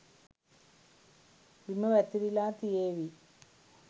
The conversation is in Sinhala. බිම වැතිරිලා තියේවි